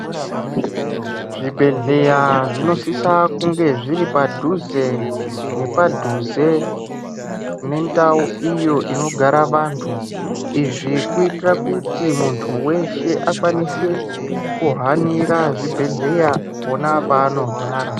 Zvibhedhlera zvinosisa kunge zviri padhuze nepadhuze nendau iyoninigara vantu izvi kuitira rabkutinmuntu weshe akwanise kuhanira zvibhedhlera pona panorwara.